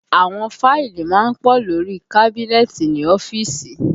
Àwọn fáìlì má ń pọ̀ lórí i kábínẹ́ẹ̀tì ní ọ́fíìsì